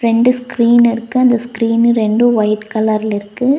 ரெண்டு ஸ்கிரீன் இருக்கு அந்த ஸ்கிரீனு ரெண்டு ஒயிட் கலர்ல இருக்கு.